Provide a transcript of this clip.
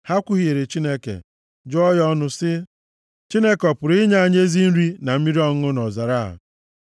Ha kwuhiere Chineke; jụọ ya ọnụ sị, “Chineke ọ pụrụ inye anyị ezi nri na mmiri ọṅụṅụ nʼọzara a?